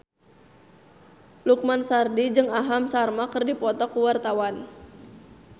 Lukman Sardi jeung Aham Sharma keur dipoto ku wartawan